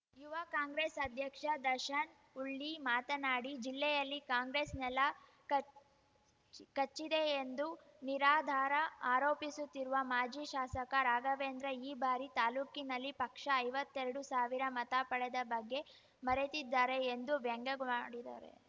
ಯುವ ಕಾಂಗ್ರೆಸ್‌ ಅಧ್ಯಕ್ಷ ದರ್ಶನ್‌ ಉಳ್ಳಿ ಮಾತನಾಡಿ ಜಿಲ್ಲೆಯಲ್ಲಿ ಕಾಂಗ್ರೆಸ್‌ ನೆಲ ಕಚ್ ಕಚ್ಚಿದೆ ಎಂದು ನಿರಾಧಾರ ಆರೋಪಿಸುತ್ತಿರುವ ಮಾಜಿ ಶಾಸಕ ರಾಘವೇಂದ್ರ ಈ ಬಾರಿ ತಾಲೂಕಿನಲ್ಲಿ ಪಕ್ಷ ಐವತ್ತೆರಡು ಸಾವಿರ ಮತ ಪಡೆದ ಬಗ್ಗೆ ಮರೆತಿದ್ದಾರೆ ಎಂದು ವ್ಯಂಗ್ಯವಡಿದರೆ